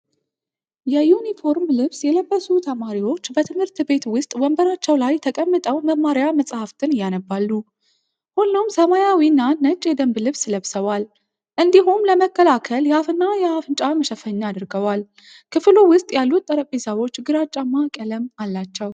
የዩኒፎርም ልብስ የለበሱ ተማሪዎች በትምህርት ቤት ውስጥ ወንበራቸው ላይ ተቀምጠው መማሪያ መጻሕፍትን ያነባሉ። ሁሉም ሰማያዊና ነጭ የደንብ ልብስ ለብሰዋል፤ እንዲሁም ለመከላከል የአፍና አፍንጫ መሸፈኛ አድርገዋል። ክፍሉ ውስጥ ያሉት ጠረጴዛዎች ግራጫማ ቀለም አላቸው።